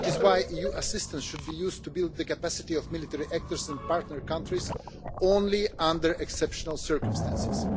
That is why EU assistance should be used to build the capacity of military actors and partner countries only under exceptional circumstances.